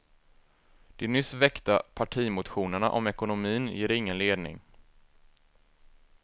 De nyss väckta partimotionerna om ekonomin ger ingen ledning.